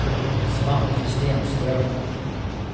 Svante Stenström